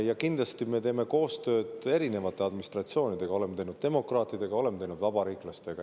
Ja kindlasti me teeme koostööd erinevate administratsioonidega: oleme teinud demokraatidega, oleme teinud vabariiklastega.